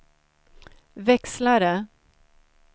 växlare